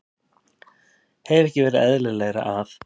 Hefði ekki verið eðlilegra að